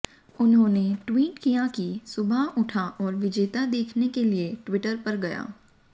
उन्होंने ट्वीट किया कि सुबह उठा और विजेता देखने के लिए ट्विटर पर गया